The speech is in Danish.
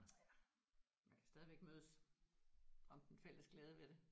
Eller man kan stadigvæk mødes om den fælles glæde ved det